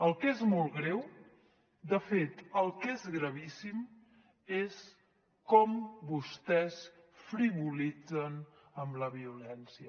el que és molt greu de fet el que és gravíssim és com vostès frivolitzen amb la violència